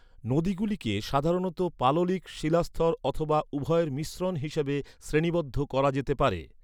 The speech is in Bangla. নদীগুলিকে সাধারণত পাললিক, শিলাস্তর অথবা উভয়ের মিশ্রণ হিসাবে শ্রেণীবদ্ধ করা যেতে পারে।